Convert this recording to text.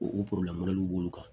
O b'olu kan